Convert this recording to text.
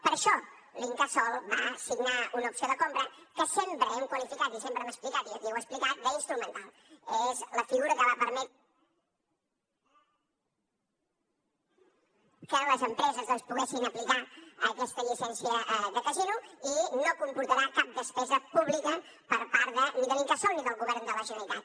per això l’incasòl va signar una opció de compra que sempre hem qualificat i sempre hem explicat i aquí ho he explicat d’instrumental és la figura que va permetre que les empreses doncs poguessin aplicar aquesta llicència de casino i no comportarà cap despesa pública per part ni de l’incasòl ni del govern de la generalitat